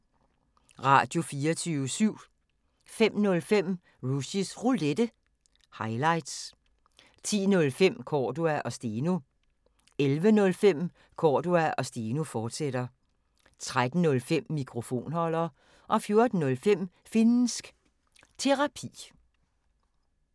Radio24syv